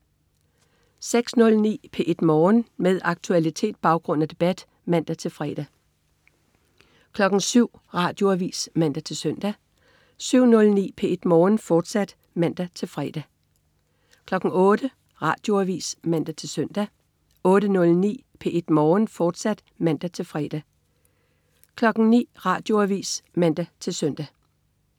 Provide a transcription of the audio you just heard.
06.09 P1 Morgen. Med aktualitet, baggrund og debat (man-fre) 07.00 Radioavis (man-søn) 07.09 P1 Morgen, fortsat (man-fre) 08.00 Radioavis (man-søn) 08.09 P1 Morgen, fortsat (man-fre) 09.00 Radioavis (man-søn)